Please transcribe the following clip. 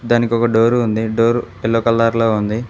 దానికి ఒక డోరు ఉంది డోర్ యెల్లో కలర్ లో ఉంది.